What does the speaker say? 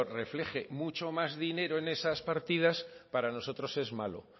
refleje mucho más dinero en esas partidas para nosotros es malo